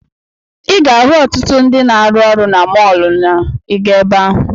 Ị ga-ahụ ọtụtụ ndị na-arụ ọrụ na mọọlụ na ị gaa ebe ahụ.